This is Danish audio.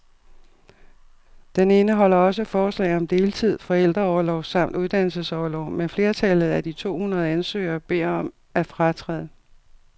Den indeholder også forslag om deltid, forældreorlov samt uddannelsesorlov, men flertallet af de to hundrede ansøgere beder om at fratræde.